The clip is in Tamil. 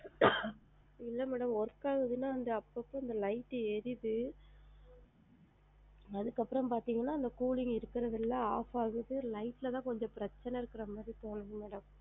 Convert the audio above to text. இல்ல madam work ஆகுதுன்னா அந்த அப்போ அப்போ இந்த light டு எரியுது அதுக்கு அப்பறம் பாத்திங்கனா இந்த cooling இருக்குறது இல்ல off ஆகுது light ல தான் கொஞ்சம் பிரச்சனை இருக்குற மாதிரி தோணுது madam.